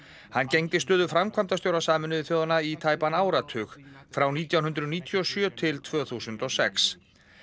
hann gegndi stöðu framkvæmdastjóra Sameinuðu þjóðanna í tæpan áratug frá nítján hundruð níutíu og sjö til tvö þúsund og sex